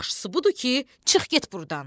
Yaxşısı budur ki, çıx get burdan.